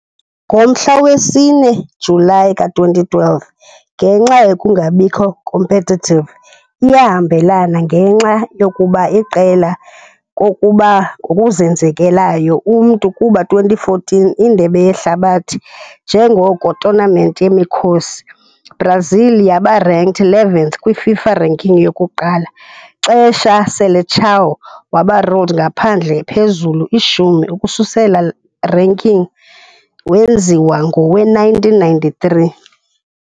Ngomhla we-4 Julayi ka-2012, ngenxa nokungabikho competitive iyahambelana ngenxa yokuba iqela kokuba ngokuzenzekelayo umntu kuba 2014 Indebe Yehlabathi njengoko tournament yemikhosi, Brazil yaba ranked 11th kwi-FIFA ranking, yokuqala xesha "Seleção" waba ruled ngaphandle phezulu ishumi ukususela ranking wenziwa ngowe-1993.